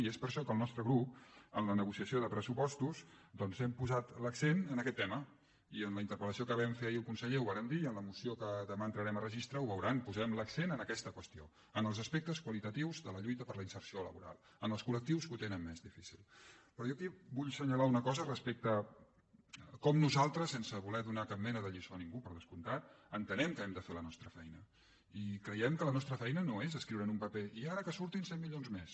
i és per això que el nostre grup en la negociació de pressupostos doncs hem posat l’accent en aquest tema i en la interpel·lació que vam fer ahir al conseller ho vàrem dir i en la moció que demà entrarem a registre ho veuran posem l’accent en aquesta qüestió en els aspectes qualitatius de la lluita per a la inserció laboral en els colperò jo aquí vull senyalar una cosa respecte a com nosaltres sense voler donar cap mena de lliçó a ningú per descomptat entenem que hem de fer la nostra feina i creiem que la nostra feina no és escriure en un paper i ara que surtin cent milions més